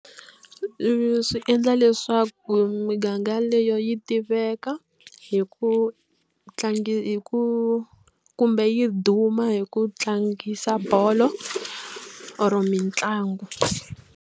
Leswi endla leswaku miganga leyi yi tiveka hi ku hi ku kumbe yi duma hi ku tlangisa bolo or mitlangu.